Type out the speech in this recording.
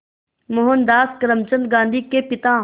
मोहनदास करमचंद गांधी के पिता